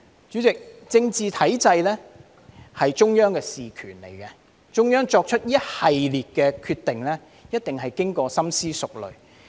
主席，政治體制是中央事權，中央作出一系列的決定，必定經過深思熟慮。